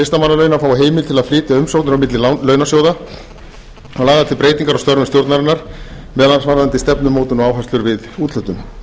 listamannalauna fái heimild til að flytja umsóknir á milli launasjóða og lagðar til breytingar á störfum stjórnarinnar meðal annars varðandi stefnumótun og áherslur við úthlutun